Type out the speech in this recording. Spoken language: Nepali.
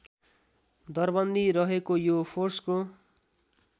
दरबन्दी रहेको यो फोर्सको